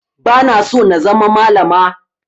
Ba na so na zama malama